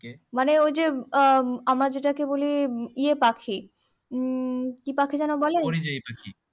মানে ওই যে আহ আমরা যেটাকে বলি ইয়ে পাখি উম কি পাখি যেন বলে